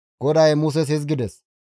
GODAY Muses hizgides,